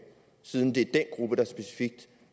siden det er den gruppe der specifikt